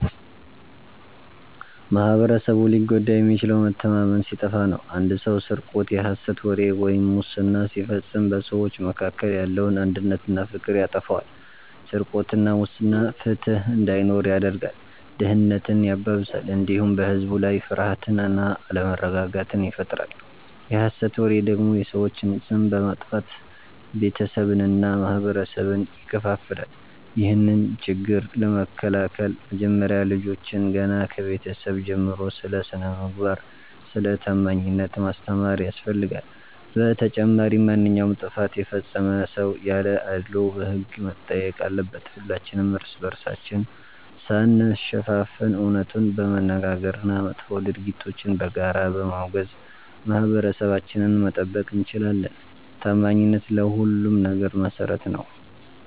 ማኅበረሰቡ ሊጎዳ የሚችለው መተማመን ሲጠፋ ነው። አንድ ሰው ስርቆት፣ የሐሰት ወሬ ወይም ሙስና ሲፈጽም በሰዎች መካከል ያለውን አንድነትና ፍቅር ያጠፋዋል። ስርቆትና ሙስና ፍትሕ እንዳይኖር ያደርጋል፣ ድህነትን ያባብሳል፣ እንዲሁም በሕዝብ ላይ ፍርሃትና አለመረጋጋትን ይፈጥራል። የሐሰት ወሬ ደግሞ የሰዎችን ስም በማጥፋት ቤተሰብንና ማኅበረሰብን ይከፋፍላል። ይህንን ችግር ለመከላከል መጀመሪያ ልጆችን ገና ከቤተሰብ ጀምሮ ስለ ስነ-ምግባርና ስለ ታማኝነት ማስተማር ያስፈልጋል። በተጨማሪም ማንኛውም ጥፋት የፈጸመ ሰው ያለ አድልዎ በሕግ መጠየቅ አለበት። ሁላችንም እርስ በርሳችን ሳንሸፋፈን እውነቱን በመነጋገርና መጥፎ ድርጊቶችን በጋራ በማውገዝ ማኅበረሰባችንን መጠበቅ እንችላለን። ታማኝነት ለሁሉም ነገር መሠረት ነው።